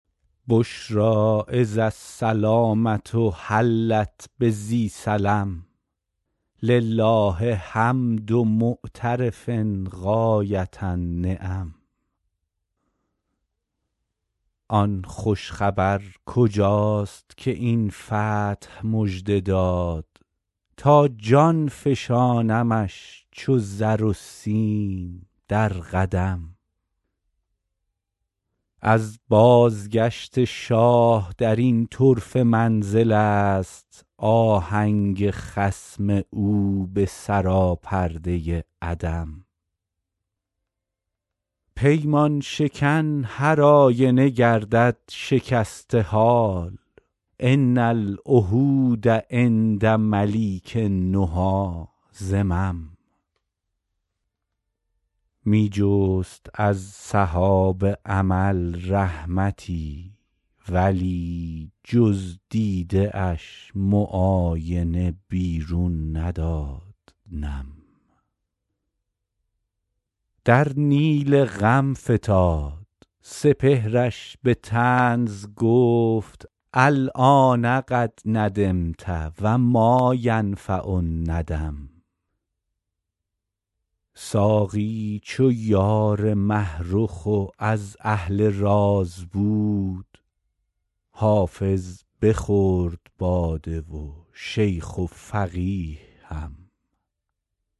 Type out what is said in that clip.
بشری اذ السلامة حلت بذی سلم لله حمد معترف غایة النعم آن خوش خبر کجاست که این فتح مژده داد تا جان فشانمش چو زر و سیم در قدم از بازگشت شاه در این طرفه منزل است آهنگ خصم او به سراپرده عدم پیمان شکن هرآینه گردد شکسته حال ان العهود عند ملیک النهی ذمم می جست از سحاب امل رحمتی ولی جز دیده اش معاینه بیرون نداد نم در نیل غم فتاد سپهرش به طنز گفت الآن قد ندمت و ما ینفع الندم ساقی چو یار مه رخ و از اهل راز بود حافظ بخورد باده و شیخ و فقیه هم